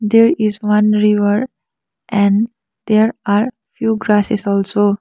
there is one river and there are few grasses also.